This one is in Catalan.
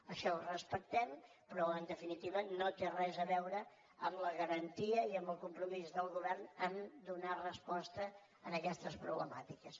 això ho respectem però en definitiva no té res a veure amb la garantia i amb el compromís del govern a donar resposta a aquestes problemàtiques